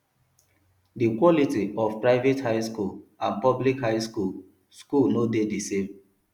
di quality of private high school and public high school school no de di same